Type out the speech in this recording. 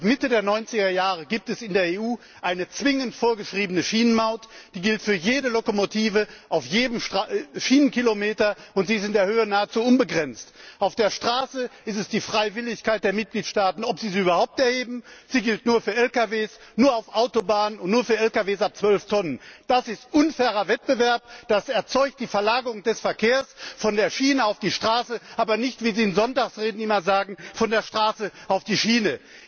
Seit Mitte der Neunzigerjahre gibt es in der EU eine zwingend vorgeschriebene Schienenmaut. Sie gilt für jede Lokomotive auf jedem Schienenkilometer, und sie ist in der Höhe nahezu unbegrenzt. Auf der Straße bleibt es den Mitgliedstaaten überlassen, ob sie überhaupt eine Maut erheben. Sie gilt nur für Lkws, nur auf Autobahnen und nur für Lkws ab 12 Tonnen. Das ist unfairer Wettbewerb! Das führt zur Verlagerung des Verkehrs von der Schiene auf die Straße, aber nicht, wie Sie in Sonntagsreden immer sagen, von der Straße auf die Schiene.